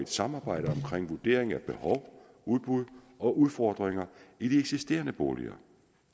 samarbejder om vurderingen af behov udbud og udfordringer i de eksisterende boliger